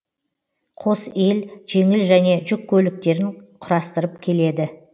қос ел жеңіл және жүк көліктерін құрастырып келеді